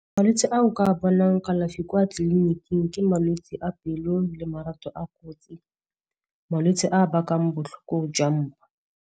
Malwetse a o ka bonang kalafi kwa tleliniking ke malwetse a pelo le a , malwetse a bakang botlhoko jwa mmu.